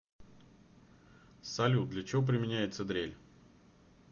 салют для чего применяется дрель